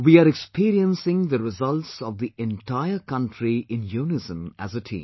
We are experiencing the results of the entire country in unison as a team